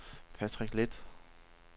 Patrick Leth